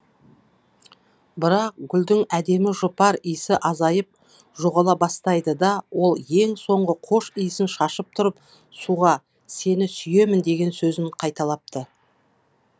бірақ гүлдің әдемі жұпар иісі азайып жоғала бастайды да ол ең соңғы қош иісін шашып тұрып суға сені сүйемін деген сөзін қайталапты